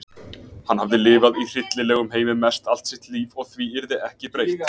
Hann hafði lifað í hryllilegum heimi mest allt sitt líf og því yrði ekki breytt.